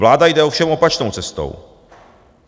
Vláda jde ovšem opačnou cestou.